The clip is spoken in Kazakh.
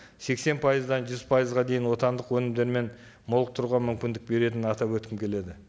сексен пайыздан жүз пайызға дейін отандық өнімдермен молықтыруға мүмкіндік беретінін атап өткім келеді